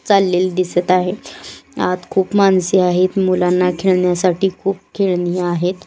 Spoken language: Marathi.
चाललेले दिसत आहे आत खूप माणसे आहेत मुलांना खेळण्यासाठी खूप खेळणी आहेत.